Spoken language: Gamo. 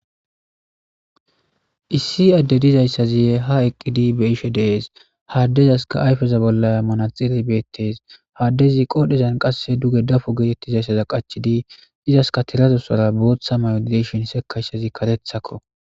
issi adde dizayssaziye ha eqqidi be ishe dees haaddezaska ayfeza bollaya mana xilli beettes haaddezi qodhezan qasse duge dafo geetettizayssaza qachidi izaska tirazosora booththa mayo ddeshin sekashazi karethakko